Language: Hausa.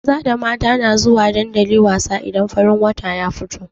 Maza da mata na zuwa dandali wasa idan farin wata ya fito.